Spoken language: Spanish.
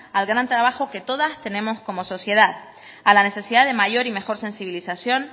al gran trabajo que todas tenemos como sociedad a la necesidad de mayor y mejor sensibilización